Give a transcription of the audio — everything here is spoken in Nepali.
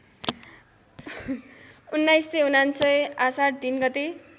१९९९ आषाढ ३ गते